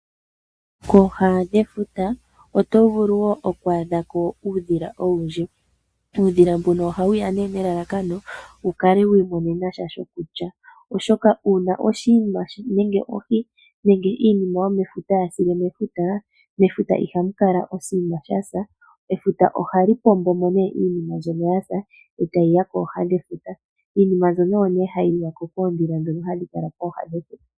Kooha dhefuta oto vulu wo oku adha ko uudhila owundji. Uudhila mbuno ohawu ya nee nelalakano wu kale wa imonene sha shokulya, oshoka uuna oshinima nenge ohi nenge iinima yomefuta ya sile mefuta, mefuta ihamu kala oshinima sha sa, efuta ohali pombo nee iinima mbyono ya sa eta yi ya kooha dhefuta, iinima mbyono oyo nee hayi liwa po koondhila ndhono hadhi kala kooha dhefuta.